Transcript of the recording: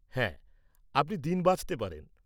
হ্যাঁ, আপনি দিন বাছতে পারেন।